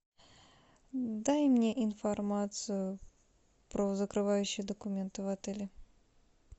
дай мне информацию про закрывающие документы в отеле